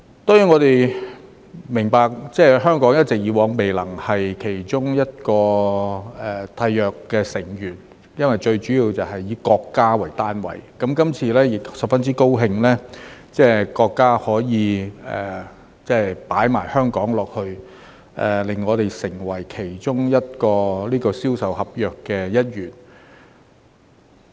當然，我們明白香港以往一直未能成為其中一個締約成員，最主要是要以國家為單位，那麼，今次亦十分高興國家可以把香港加進去，讓我們成為其中一個《銷售公約》的一員。